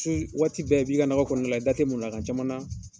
waati bɛɛ, i b'i nakɔ kɔnɔna la, i da ti caman na